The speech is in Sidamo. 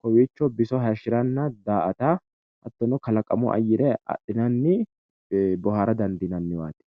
kowiicho biso hayishshiranna daa"ata hattono kalaqamu ayyire adhinanni boohara dandiinanniwaati.